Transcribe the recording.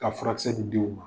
Ka furakɛsɛ nin di u ma